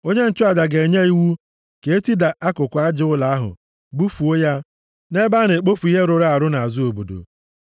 onye nchụaja ga-enye iwu ka e tida akụkụ aja ụlọ ahụ bufuo ya nʼebe a na-ekpofu ihe rụrụ arụ nʼazụ obodo.